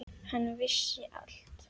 Hann vissi allt.